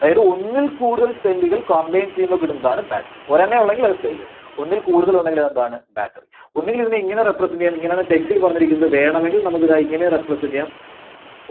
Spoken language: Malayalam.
അതായത് ഒന്നിൽ കൂടുതൽ cell കൾ combine ചെയ്യുമ്പോൾ കിട്ടുന്നതാണ് battery. ഒരെണ്ണവേ ഉള്ളെങ്കിൽ അത് cell ഒന്നിൽ കൂടുതൽ ഉണ്ടെങ്കിൽ അതെന്താണ്? Battery. ഒന്നുകിൽ ഇതിനെ ഇങ്ങനെ represent ചെയ്യാം. ഇങ്ങനെയാണ് text ല് പറഞ്ഞിരിക്കുന്നത് വേണമെങ്കിൽ നമുക്ക് ദാ ഇങ്ങനെയും represent ചെയ്യാം